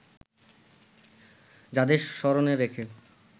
যাঁদের স্মরণে রেখে